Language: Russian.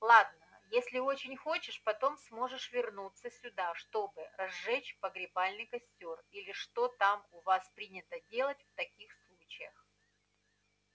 ладно если очень хочешь потом сможешь вернуться сюда чтобы разжечь погребальный костёр или что там у вас принято делать в таких случаях